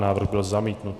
Návrh byl zamítnut.